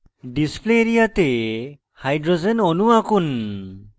display area তে hydrogen অণু আঁকুন